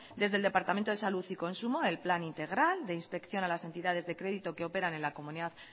desde el departamento de salud y consumo el plan integral de inspección a las entidades de créditos que operan en la comunidad